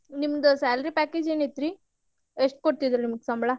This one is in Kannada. ನಿಮ್ದ salary package ಏನಿತ್ರಿ ಎಷ್ಟ್ ಕೊಡ್ತಿದ್ರ್ ನಿಮ್ಗ ಸಂಬಳಾ?